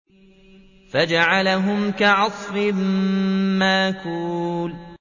فَجَعَلَهُمْ كَعَصْفٍ مَّأْكُولٍ